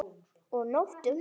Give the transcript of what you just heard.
Og nóttum!